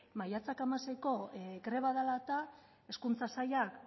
maiatzak hamaseiko greba dela eta hezkuntza sailak